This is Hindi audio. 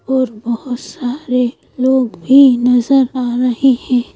और बहुत सारे लोग भी नजर आ रहे हैं।